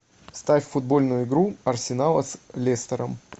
ставь футбольную игру арсенала с лестером